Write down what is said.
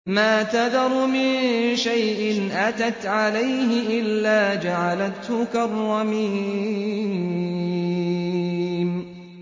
مَا تَذَرُ مِن شَيْءٍ أَتَتْ عَلَيْهِ إِلَّا جَعَلَتْهُ كَالرَّمِيمِ